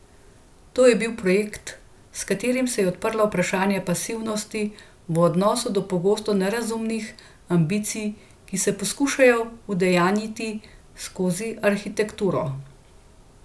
To je bil projekt, s katerim se je odprlo vprašanje pasivnosti v odnosu do pogosto nerazumnih ambicij, ki se poskušajo udejanjiti skozi arhitekturo.